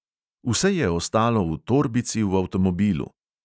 Vse je ostalo v torbici v avtomobilu.